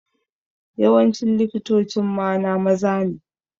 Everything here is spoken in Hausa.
Yawancin likitocin mana maza ne.